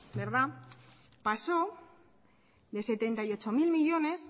pasó de setenta y ocho mil millónes